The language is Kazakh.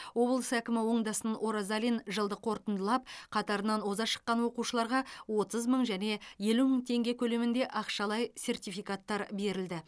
облыс әкімі оңдасын оразалин жылды қорытындылап қатарынан оза шыққан оқушыларға отыз мың және елу мың теңге көлемінде ақшалай сертификаттар берілді